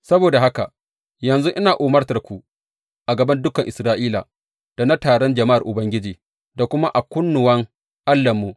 Saboda haka yanzu ina umartanku a gaban dukan Isra’ila da na taron jama’ar Ubangiji, da kuma a kunnuwan Allahnmu.